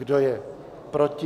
Kdo je proti?